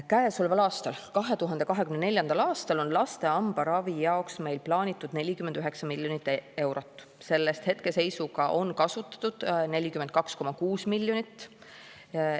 " Käesoleval aastal, 2024. aastal on laste hambaravi jaoks meil plaanitud 49 miljonit eurot, sellest hetkeseisuga on kasutatud 42,6 miljonit.